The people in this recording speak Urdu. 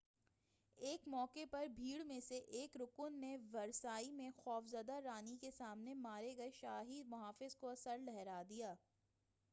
ایک موقع پر بھیڑ میں سے ایک رکن نے ورسائی میں خوف زدہ رانی کے سامنے مارے گئے شاہی محافظ کا سر لہرا دیا